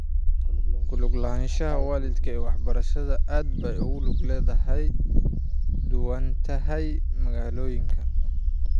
Ku lug lahaanshaha waalidka ee waxbarashada aad bay ugu kala duwan tahay magaalooyinka.